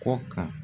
Kɔ kan